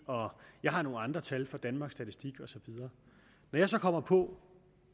jeg har nogle andre tal fra danmarks statistik og så videre da jeg så kommer på